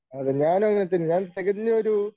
അതെ ഞാനും അങ്ങനെ തന്നെയാ ഞാൻ തികഞ്ഞ ഒരു